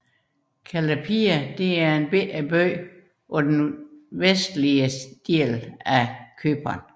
Kallepia er en lille by på den vestlige del af Cypern